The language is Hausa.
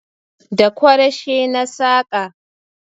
Da Kwarashe na saƙa